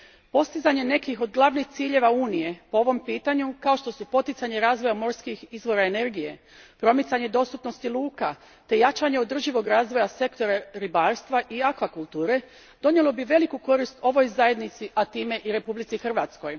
Postizanje nekih od glavnih ciljeva Unije po ovom pitanju, kao što su poticanje razvoja morskih izvora energije, promicanje dostupnosti luka te jačanje održivog razvoja sektora ribarstva i akvakulture donijelo bi veliku korist ovoj Zajednici, a time i Republici Hrvatskoj.